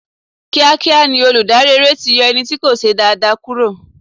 Kíá kíá ni olùdarí eré ti yọ ẹni tí kò ṣe dáa dáa kúrò.